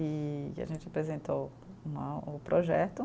e a gente apresentou né, o projeto.